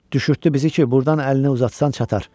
Düşürtdü bizi ki, burdan əlini uzatsan çatar.